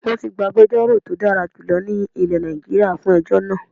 Wọ́n ti gba agbejórò tí ó dára jùlọ ní ilẹ̀ Nàìjíríà fún ejọ́ náà